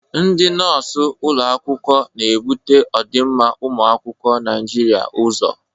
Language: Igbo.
Ndị nọọsụ ụlọ akwụkwọ na-ebute ọdịmma ụmụ akwụkwọ Naịjiria ụzọ.